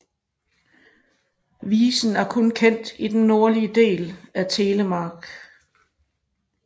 Visen er kun kendt den nordlige del af Telemark